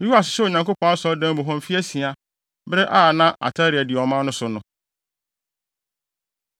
Yoas hyɛɛ Onyankopɔn Asɔredan mu hɔ mfe asia, bere a na Atalia di ɔman no so no.